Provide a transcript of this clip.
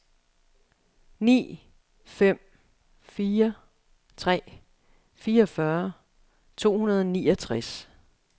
ni fem fire tre fireogfyrre to hundrede og niogtres